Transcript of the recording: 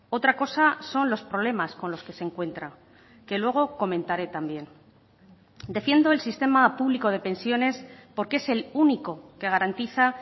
otra cosa son los problemas con los que se encuentra que luego comentaré también defiendo el sistema público de pensiones porque es el único que garantiza